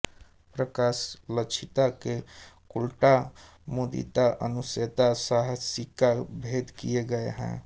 प्रकाशलक्षिता के कुलटा मुदीता अनुशयना साहसिका भेद किये गये हैं